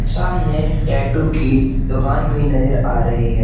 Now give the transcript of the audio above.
सामने टैटू की दोकान भी नजर आ रही--